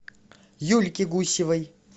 юльки гусевой